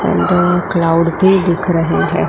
And cloud भी दिख रहे हैं।